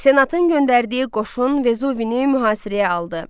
Senatın göndərdiyi qoşun Vezuvini mühasirəyə aldı.